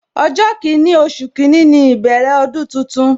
Ọjọ kini, oṣù kini ni ìbẹ̀rẹ̀ ọdún tuntun